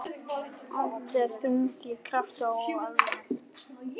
Andlitið er þrungið krafti og alvöru.